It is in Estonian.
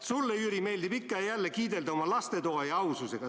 Sulle, Jüri, meeldib ikka ja jälle kiidelda oma lastetoa ja aususega.